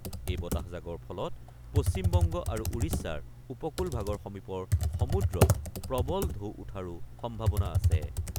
এই বতাহজাকৰ ফলত পশ্চিমবংগ আৰু উৰিষ্যাৰ উপকূল ভাগৰ সমীপৰ সমুদ্ৰত প্ৰবল ঢৌ উঠাৰো সম্ভাৱনা আছে।